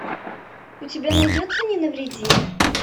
у тебя найдется не навреди